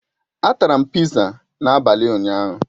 A tara m pizza n'abalị ụnyaahụ.